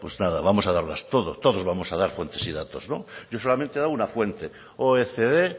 pues nada vamos a darlas todos vamos a dar fuentes y datos yo solamente he dado una fuente oecd